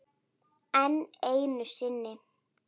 Enn einu sinni.